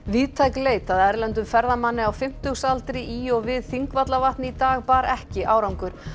víðtæk leit að erlendum ferðamanni á fimmtugsaldri í og við Þingvallavatn í dag bar ekki árangur